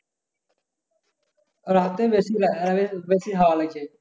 রাতে বেশি হওয়া লাগে।